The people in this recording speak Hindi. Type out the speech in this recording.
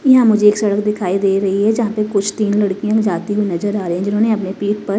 यहां मुझे एक सड़क दिखाई दे रही है जहां पे कुछ तीन लड़कियां भी जाती हुई नजर आ रही हैं जिन्होंने अपने पीठ पर--